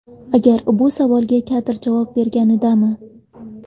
Agar bu savolga Kadir javob berganidami?!